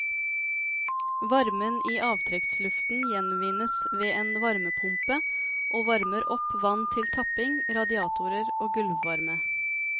Varmen i avtrekksluften gjenvinnes ved en varmepumpe og varmer opp vann til tapping, radiatorer og gulvvarme.